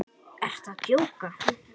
Ertu að djóka?